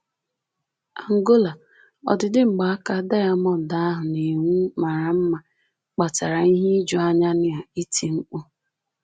Angola: “Ọdịdị mgbaaka diamọnd ahụ na-enwu mara mma kpatara ihe ijuanya na iti mkpu